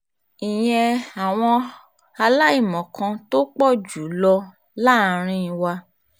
ìyẹn àwọn aláìmọ̀kan tó pọ̀ jù lọ láàrin wa